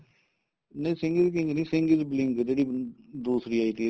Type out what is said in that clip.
ਨਹੀਂ Singh is king ਨੀਂ Singh is being ਜਿਹੜੀ ਦੂਸਰੀ ਆਈ ਤੀ